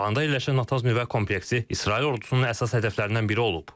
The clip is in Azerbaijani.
İsfahanda yerləşən Natans nüvə kompleksi İsrail ordusunun əsas hədəflərindən biri olub.